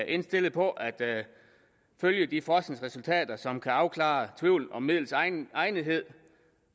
indstillet på at følge de forskningsresultater som kan afklare tvivl om midlets egnethed